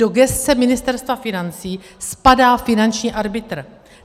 Do gesce Ministerstva financí spadá finanční arbitr.